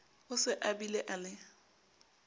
o se abile a le